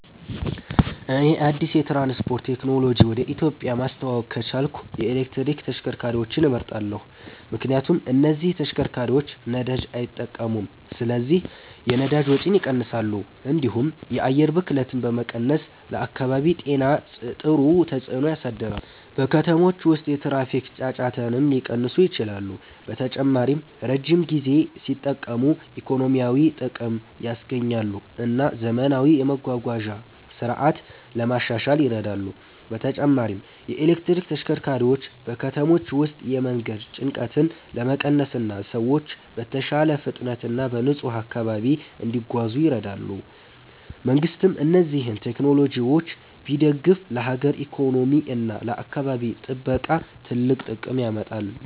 እኔ አዲስ የትራንስፖርት ቴክኖሎጂ ወደ ኢትዮጵያ ማስተዋወቅ ከቻልኩ የኤሌክትሪክ ተሽከርካሪዎችን እመርጣለሁ። ምክንያቱም እነዚህ ተሽከርካሪዎች ነዳጅ አይጠቀሙም ስለዚህ የነዳጅ ወጪን ይቀንሳሉ፣ እንዲሁም የአየር ብክለትን በመቀነስ ለአካባቢ ጤና ጥሩ ተጽዕኖ ያሳድራሉ። በከተሞች ውስጥ የትራፊክ ጫጫታንም ሊቀንሱ ይችላሉ። በተጨማሪም ረጅም ጊዜ ሲጠቀሙ ኢኮኖሚያዊ ጥቅም ያስገኛሉ እና ዘመናዊ የመጓጓዣ ስርዓት ለማሻሻል ይረዳሉ። በተጨማሪም የኤሌክትሪክ ተሽከርካሪዎች በከተሞች ውስጥ የመንገድ ጭንቀትን ለመቀነስ እና ሰዎች በተሻለ ፍጥነት እና በንጹህ አካባቢ እንዲጓዙ ይረዳሉ። መንግሥትም እነዚህን ቴክኖሎጂዎች ቢደግፍ ለሀገር ኢኮኖሚ እና ለአካባቢ ጥበቃ ትልቅ ጥቅም ያመጣል።